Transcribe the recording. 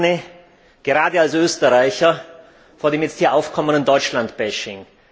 Ich warne, gerade als Österreicher, vor dem jetzt hier aufkommenden Deutschland Bashing.